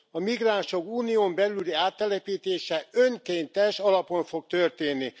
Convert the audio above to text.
a migránsok Unión belüli áttelepítése önkéntes alapon fog történni.